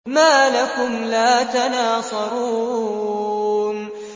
مَا لَكُمْ لَا تَنَاصَرُونَ